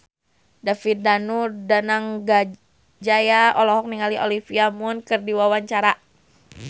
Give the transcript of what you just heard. David Danu Danangjaya olohok ningali Olivia Munn keur diwawancara